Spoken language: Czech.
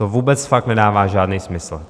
To vůbec fakt nedává žádný smysl.